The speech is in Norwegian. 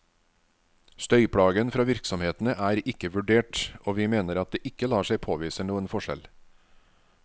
Støyplagen fra virksomhetene er ikke vurdert, og vi mener at det ikke lar seg påvise noen forskjell.